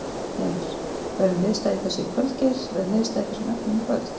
Heimir: Verður niðurstaða í þessu í kvöld Geir, verður niðurstaða í þessum efnum í kvöld?